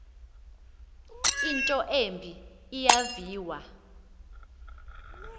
into embi eyaviwa